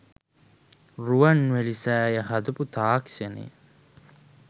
රුවන්වැලි සෑය හදපු තාක්‍ෂණය